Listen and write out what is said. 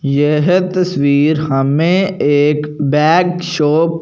येह तस्वीर हमें एक बैग शॉप --